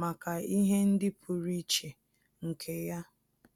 màkà ihe ndị pụ́rụ́ iche nke ya.